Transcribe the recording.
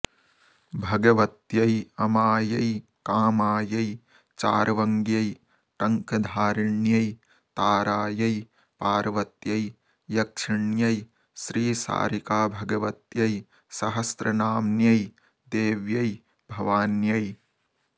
भगवत्यै अमायै कामायै चार्वङ्ग्यै टङ्कधारिण्यै तारायै पार्वत्यै यक्षिण्यै श्रीशारिकाभगवत्यै सहस्रनाम्न्यै देव्यै भवान्यै